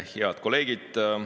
Head kolleegid!